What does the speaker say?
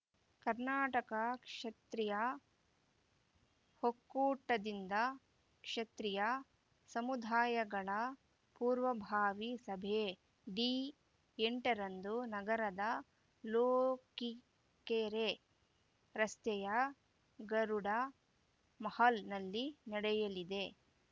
ಕರ್ನಾಟಕ ಕ್ಷತ್ರಿಯ ಒಕ್ಕೂಟದಿಂದ ಕ್ಷತ್ರಿಯ ಸಮುದಾಯಗಳ ಪೂರ್ವಭಾವಿ ಸಭೆ ಡಿ ಎಂಟರಂದು ನಗರದ ಲೋಕಿಕೆರೆ ರಸ್ತೆಯ ಗರುಡ ಮಾಹಲ್‌ನಲ್ಲಿ ನಡೆಯಲಿದೆ